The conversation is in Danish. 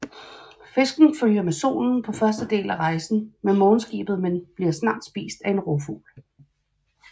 Fisken følger med solen på første del af rejsen med morgenskibet men bliver snat spist af en rovfugl